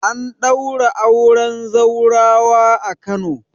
An daura auren zaurawa a Kano